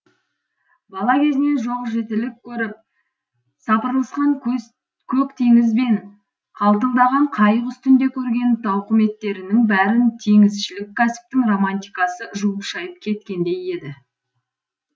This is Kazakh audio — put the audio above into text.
бала кезінен жоқ жітілік көріп сапырылысқан көк теңіз бен қалтылдаған қайық үстінде көрген тауқыметтерінің бәрін теңізшілік кәсіптің романтикасы жуып шайып кеткендей еді